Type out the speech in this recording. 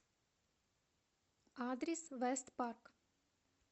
адрес вэст парк